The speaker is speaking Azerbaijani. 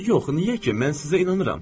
Yox, niyə ki, mən sizə inanıram.